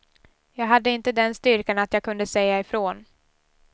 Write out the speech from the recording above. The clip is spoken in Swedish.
Jag hade inte den styrkan att jag kunde säga ifrån.